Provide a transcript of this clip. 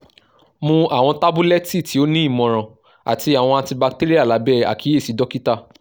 mu awọn tabulẹti ti o ni imọran ati awọn antibacterial labẹ akiyesi dokita